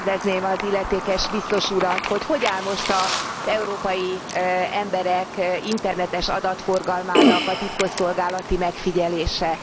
Kérdezném az illetékes Biztos urat, hogy hogy áll most az európai emberek internetes adatforgalmának a titkosszolgálati megfigyelése?